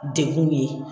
Degun ye